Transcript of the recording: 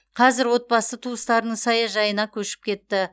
қазір отбасы туыстарының саяжайына көшіп кетті